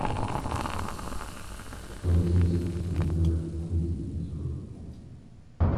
полицейский с рублевки третий эпизод